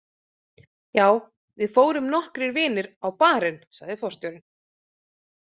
Já, við fórum nokkrir vinir á Bar- inn, sagði forstjórinn.